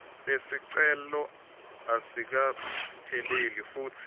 lesicelo asikapheleli futsi